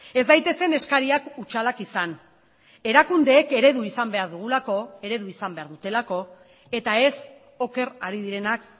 ez daitezen eskariak hutsalak izan erakundeek eredu izan behar dugulako eredu izan behar dutelako eta ez oker ari direnak